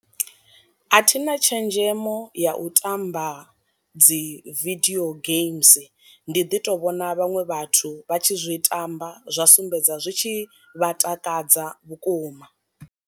A thina tshenzhemo ya u tamba dzi vidio games, ndi ḓi to vhona vhaṅwe vhathu vha tshi zwi tamba zwa sumbedza zwi tshi vha takadza vhukuma.